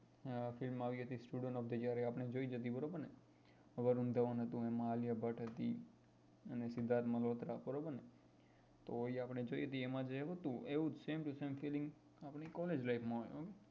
Film આવી હતી student of the year એ આપડે જોઈ જ હતી બરાબર ને વરુણ ધવન હતો એમાં આલિયા ભટ્ટ હતી અને સિધાર્થ મલ્હોત્રા બરોબર ને તો એ આપડે જોઈ હતી તો એમાં જેવું હતું એવું જ same to same આપડી collage life માં હોય